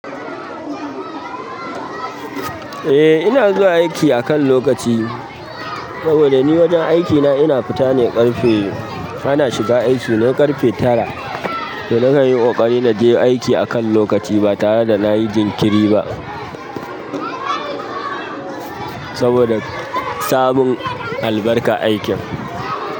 Eh ina zuwa aiki akan lokaci saboda ni wajen aikina ina fita ne ƙarfe. Ana shiga aiki ne ƙarfe tara, to ni kanyi ƙoƙari na je aiki akan lokaci ba tare da na yi jinkiri ba. Saboda samun albarkar aikin.